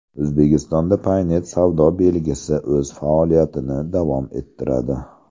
O‘zbekistonda Paynet savdo belgisi o‘z faoliyatini davom ettiradi.